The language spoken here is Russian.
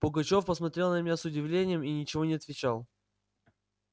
пугачёв посмотрел на меня с удивлением и ничего не отвечал